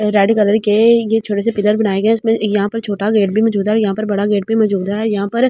Red colour के यह छोटे से पिलर बनाए गए हैं इसमें यहां पर छोटा गेट भी मौजूद है और यहां पर बड़ा गेट भी मौजूद है यहां पर।